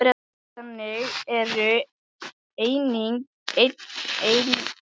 Þannig eru einnig hinar aðrar myndir margskonar táknræn hugsmíð.